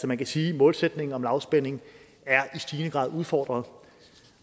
man kan sige at målsætningen om lavspænding i stigende grad er udfordret